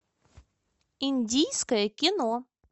индийское кино